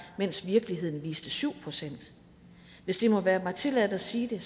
mens virkeligheden viste syv procent hvis det må være mig tilladt at sige det